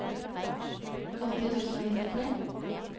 åtti tusen og nittitre